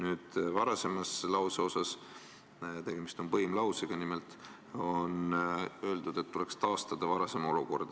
Selle lause esimeses osas – tegemist on põimlausega – on öeldud, et tuleks taastada varasem olukord.